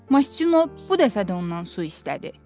Mastino bu dəfə də ondan su istədi.